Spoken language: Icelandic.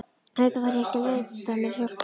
Auðvitað þarf ég ekki að leita mér hjálpar.